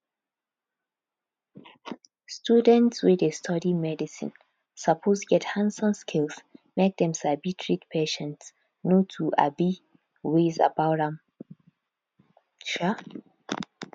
students wey dey study medicine suppose get handson skills make dem sabi treat patients no two um ways about am um